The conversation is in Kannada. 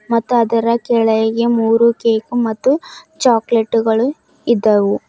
ಮತ್ತು ಅದರ ಕೆಳಗೆ ಮೂರು ಕೇಕು ಮತ್ತು ಚಾಕಲೇಟು ಗಳು ಇದ್ದವು.